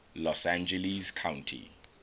los angeles county